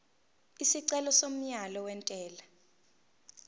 isicelo somyalo wentela